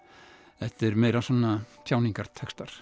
þetta er meira svona